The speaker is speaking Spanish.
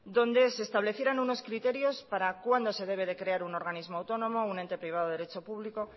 donde se establecieran unos criterios para cuándo se debe de crear un organismo autónomo un ente público